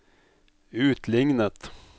utlignet